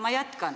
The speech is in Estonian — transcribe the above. Ma jätkan.